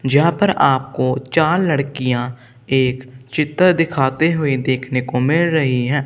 यहां पर आपको चार लड़कियां एक चित्र दिखाते हुए देखने को मिल रही हैं।